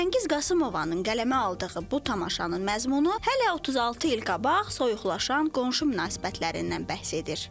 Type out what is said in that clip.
Röyal Qasımovanın qələmə aldığı bu tamaşanın məzmunu hələ 36 il qabaq soyuqlaşan qonşu münasibətlərindən bəhs edir.